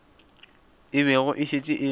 e bego e šetše e